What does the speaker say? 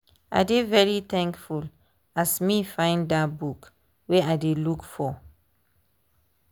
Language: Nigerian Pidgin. i dey very thankful as me find that book wey i dey look for.